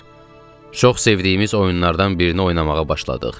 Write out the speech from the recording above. Çox sevdiyimiz oyunlardan birini oynamağa başladıq.